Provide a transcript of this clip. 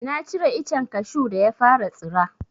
Na cire icen kashu da ya fara tsira.